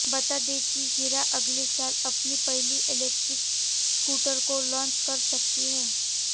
बता दें कि हीरो अगले साल अपनी पहली इलेक्ट्रिक स्कूटर को लॉन्च कर सकती है